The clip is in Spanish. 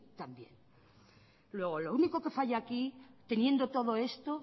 también luego lo único que falla aquí teniendo todo esto